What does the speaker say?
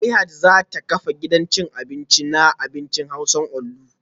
Zuleihat za ta kafa gidan cin abinci na abincin hausa onlu